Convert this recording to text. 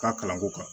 Ka kalanko kan